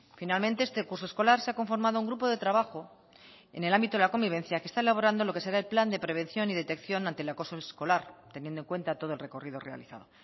finalmente este curso escolar se ha conformado un grupo de trabajo en el ámbito de la convivencia que está elaborando lo que será el plan de prevención y detección ante el acoso escolar teniendo en cuenta todo el recorrido realizado